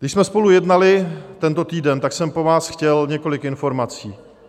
Když jsme spolu jednali tento týden, tak jsem po vás chtěl několik informací.